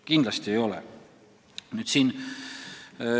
Kindlasti ei ole!